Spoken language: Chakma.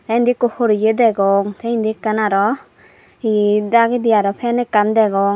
te indi ekko horeye degong te indi ekkan arow he dagedi arow fan ekkan degong.